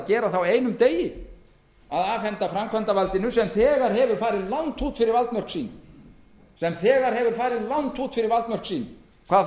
ætlað á einum degi að afhenda framkvæmdarvaldinu sem þegar hefur farið langt út fyrir valdmörk sín hvað það